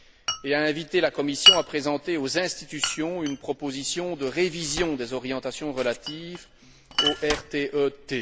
et a invité la Commission à présenter aux institutions une proposition de révision des orientations relatives au RTE T.